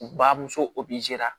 U bamuso